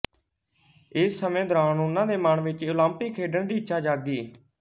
ਇਸ ਸਮੇਂ ਦੌਰਾਨ ਉਹਨਾਂ ਦੇ ਮਨ ਵਿੱਚ ਓਲੰਪਿਕ ਖੇਡਣ ਦੀ ਇੱਛਾ ਜਾਗੀ